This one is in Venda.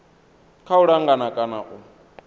kha u langa kana u